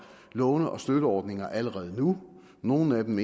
låne og støtteordninger allerede nu nogle af dem